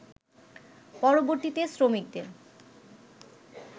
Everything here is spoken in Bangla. পরবর্তীতে শ্রমিকদের